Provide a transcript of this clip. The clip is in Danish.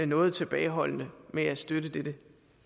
noget tilbageholdende med at støtte dette